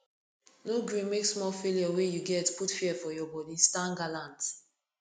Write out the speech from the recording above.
no gree make small failure wey you get put fear for your body stand gallant